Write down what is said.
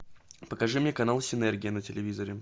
покажи мне канал синергия на телевизоре